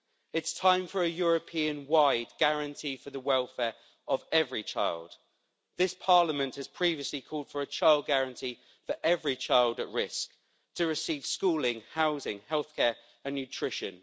It's time for a European wide guarantee for the welfare of every child. This Parliament has previously called for a child guarantee for every child at risk to receive schooling, housing, healthcare and nutrition.